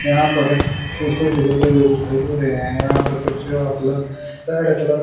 यहां पर सीसे भी लेते हुए दिखाई दे रहे है यहां पर कुर्सियों मतलब रेड कलर --